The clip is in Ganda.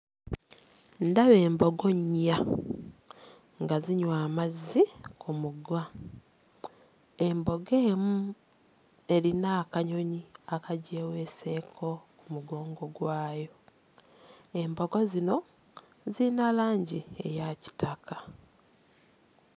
Ndaba embogo nnya nga zinywa amazzi ku mugga embogo emu erina akanyonyi akagyeweeseeko mugongo gwayo embogo zino ziyina langi eya kitaka.